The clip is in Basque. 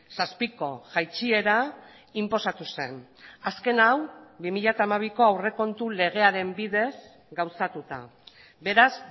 zazpiko jaitsiera inposatu zen azken hau bi mila hamabiko aurrekontu legearen bidez gauzatuta beraz